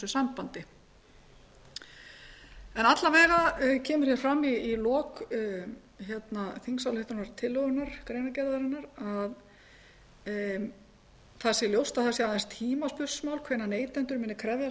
sambandi en alla vega kemur fram í lok greinargerðar þingsályktunartillögunnar að það sé ljóst að það sé aðeins tímaspursmál hvenær neytendur muni krefjast